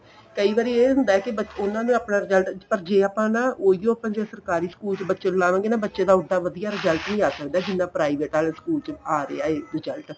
ਕਈ ਵਾਰੀ ਇਹ ਹੁੰਦਾ ਕੀ ਉਹਨਾ ਨੂੰ ਆਪਣਾ result ਪਰ ਜੇ ਆਪਾਂ ਨਾ ਉਹਿਉ ਜੇ ਆਪਾਂ ਸਰਕਾਰੀ school ਚ ਲਵਾਂਗੇ ਨਾ ਬੱਚੇ ਦਾ ਉਲਟਾ ਵਧੀਆ result ਵੀ ਆ ਸਕਦਾ ਜਿੰਨਾਂ private ਵਾਲੇ school ਚ ਆ ਰਿਹਾ ਏ result